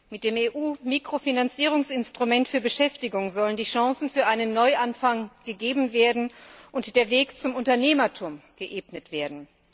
Mit dem EU Mikrofinanzierungsinstrument für Beschäftigung sollen die Chancen für einen Neuanfang gegeben und der Weg zum Unternehmertum geebnet werden.